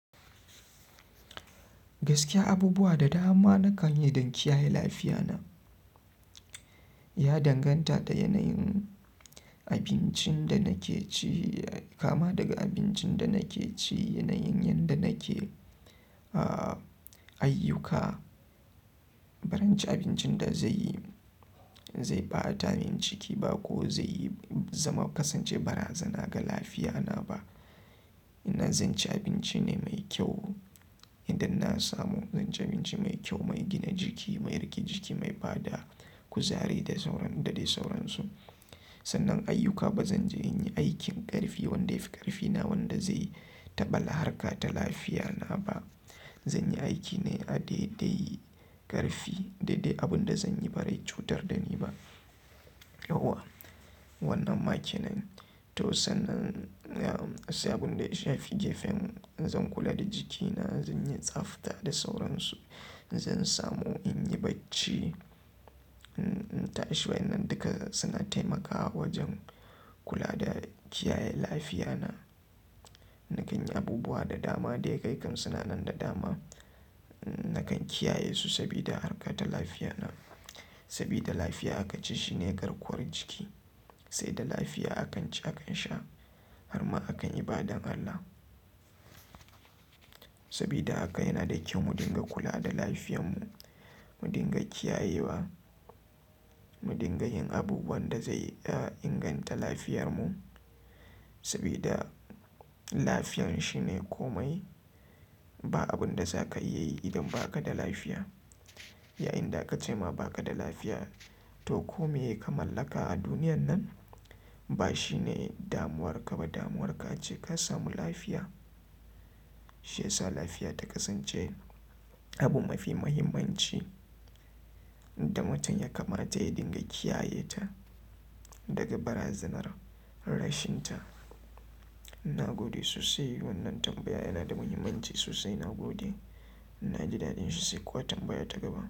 Gaskiya abubuwa da dama na kan yi don kiyaye lafiyana. Ya danganta da yanayin abincin da nake ci, kama daga abincin da nake ci, yanayin yadda nake, a, ayyuka. Barin ci abincin da zai, zai bata amin ciki ba ko zai zama kasance bara zana ga lafiyana ba. Ina zan ci abinci ne mai kyau idan na samu. Zan ci abinci mai kyau, mai gina jiki, mai riƙe ciki, mai bada kuzari da sauran da dai sauransu. Sannan ayyuka ba zan je in yi aikin ƙarfi wanda ya fi ƙarfina wanda zai taɓa la harka ta lafiyana ba. Zan yi aiki ne a dai dai ƙarfi, dai dai abun da zan yi ba zai cutar da ni ba. Yauwa, wannan ma kenan. To sannan, sai abun da ya shafi gefen zan kula da jikina, zan yi tsafta da sauran su. Zan samu in yi bacci. Ta ashe wannan duka suna taimakawa wajen kula da kiyaye lafiyana. Na kan yi abubuwa da dama da ya kai kan sinanan da dama. Na kan kiyaye su sabida harka ta lafiyana. Sabida lafiya aka ce shine garkuwar jiki. Sai da lafiya akan ci akan sha har ma akan yi ibadan Allah. Sabida haka yana da kyau mu dinga kula da lafiyanmu, mu dinga kiyayewa, mu dinga yin abubuwan da zai inganta lafiyarmu. Sabida lafiyan shine komai. Ba abun da za ka iya yi idan ba ka da lafiya. Yayin da ka ce ma ba ka da lafiya to ko meye ka mallaka a duniyan nan ba shi ne damuwarka ba. Damuwarka ce ka samu lafiya. Shi ya sa lafiya ta kasance abu mafi muhimmanci da mutum ya kamata ya dinga kiyayeta daga barazanar rashinta. Na gode sosai. Wannan tambaya yana da muhimmanci sosai. Na gode, naji dadin shi, sai kuma tambaya ta gaba.